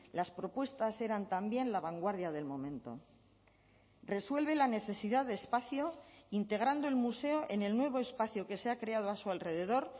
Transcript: las propuestas eran también la vanguardia del momento resuelve la necesidad de espacio integrando el museo en el nuevo espacio que se ha creado a su alrededor